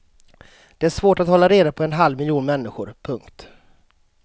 Det är svårt att hålla reda på en halv miljon människor. punkt